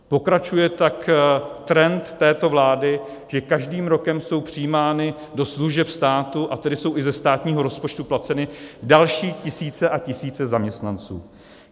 Pokračuje tak trend této vlády, že každým rokem jsou přijímány do služeb státu, a tedy jsou i ze státního rozpočtu placeny, další tisíce a tisíce zaměstnanců.